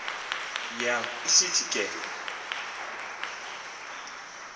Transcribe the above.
yael isithi ke